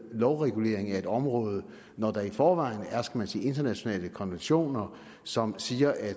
lovregulering af et område når der i forvejen er internationale konventioner som siger at